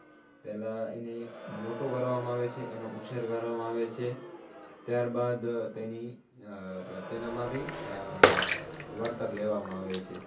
પેલા એને મોટો કરવામાં આવે છે એને ઉછેર કરવામાં આવે છે, ત્યારબાદ તેની આહ તેનામાથી આહ વળતર લેવામાં આવે છે